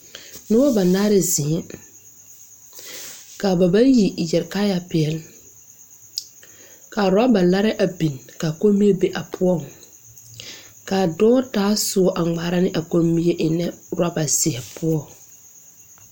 Nobɔ banaare zeŋɛɛ kaa ba bayi yɛre kaayɛ peɛle ka rɔba larɛɛ a bin kaa kommie be a poɔŋ kaa dɔɔ taa soɔ a ngmaara ne a kommie ne rɔba zeɛ poɔŋ.